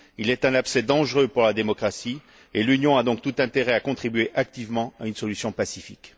Il est un abcès dangereux pour la démocratie et l'Union a donc tout intérêt à contribuer activement à une solution pacifique.